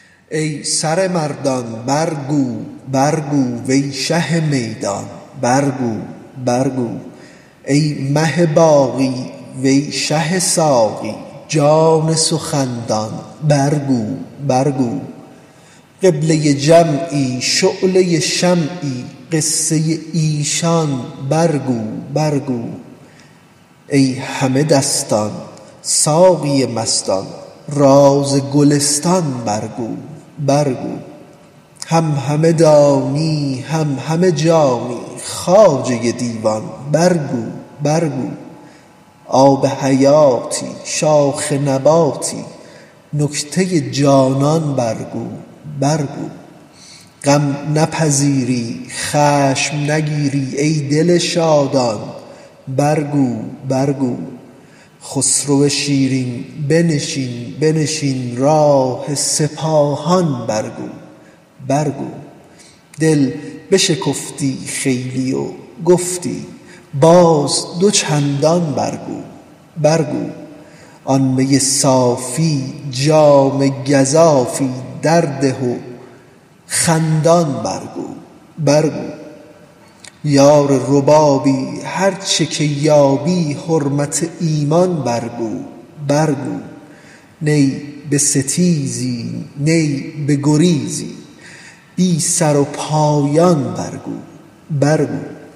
ای سر مردان برگو برگو وی شه میدان برگو برگو ای مه باقی وی شه ساقی جان سخن دان برگو برگو قبله جمعی شعله شمعی قصه ایشان برگو برگو ای همه دستان ساقی مستان راز گلستان برگو برگو هم همه دانی هم همه جانی خواجه دیوان برگو برگو آب حیاتی شاخ نباتی نکته جانان برگو برگو غم نپذیری خشم نگیری ای دل شادان برگو برگو خسرو شیرین بنشین بنشین راه سپاهان برگو برگو دل بشکفتی خیلی و گفتی باز دو چندان برگو برگو آن می صافی جام گزافی درده و خندان برگو برگو یار ربابی هر چه که یابی حرمت ایمان برگو برگو نی بستیزی نی بگریزی بی سر و پایان برگو برگو